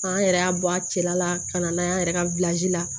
An yɛrɛ y'a bɔ a cɛla ka na n'a ye an yɛrɛ ka la